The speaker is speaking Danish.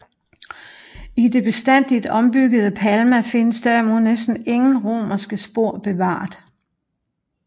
I det bestandigt ombyggede Palma findes derimod næsten ingen romerske spor bevaret